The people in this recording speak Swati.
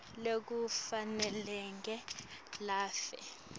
lwekufa nendlela lafe